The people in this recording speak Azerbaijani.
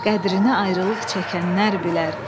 Qədrini ayrılıq çəkənlər bilər.